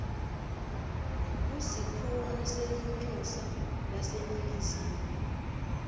kusikhungo selincusa laseningizimu